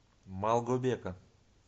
малгобека